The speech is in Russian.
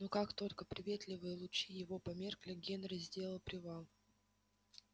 но как только приветливые лучи его померкли генри сделал привал